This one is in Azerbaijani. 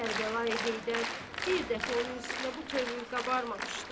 Kərbəlayi Heydər bir dəfə onun üstünə bu tövr qabarmamışdı.